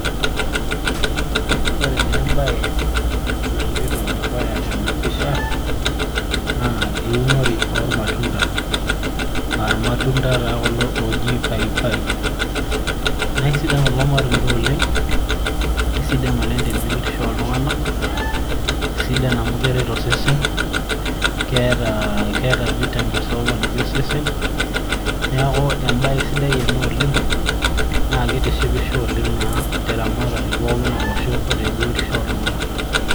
ore naa ebae naloito dukuya tena pisha naa eunore oormatunda.aa irmatunda taa kulo ooji paipai, naa sidan taaa kulo matunda oleng. sidan oleng te biotisho ooltunganak, sidana amu keret osesen. keeta vitamins ooponiki osesen. neeku ebae sidai ena oleng' naa kitishipisho oleng te ramatere olosho onooltunganak.